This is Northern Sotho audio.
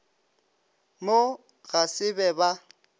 mo ga se be ba